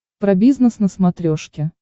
про бизнес на смотрешке